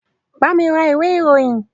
Bami ra ìwé ìròyìn!